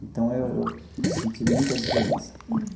Então, eu eu senti muita diferença.